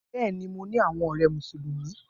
Bẹẹni, Mo ni awọn ọrẹ Musulumi.